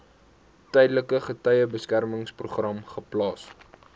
tydelike getuiebeskermingsprogram geplaas